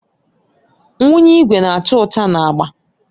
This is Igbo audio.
Ngwunye igwe na-acha ọcha na agba.